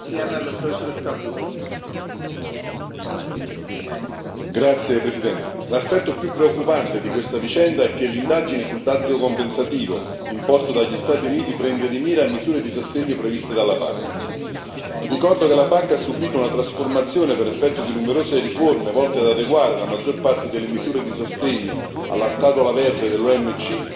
Signor Presidente, onorevoli colleghi, l'aspetto più preoccupante di questa vicenda è che l'indagine sul dazio compensativo, imposto dagli Stati Uniti, prende di mira le misure di sostegno previste dalla PAC. Ricordo che la PAC ha subito una trasformazione per effetto di numerose riforme volte ad adeguare la maggior parte delle misure di sostegno alla scatola verde dell'OMC,